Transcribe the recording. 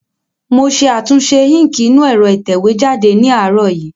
Mo ṣe àtúnṣe íǹkì inú ẹ̀rọ ìtẹ̀wé jáde ní àárọ̀ yìí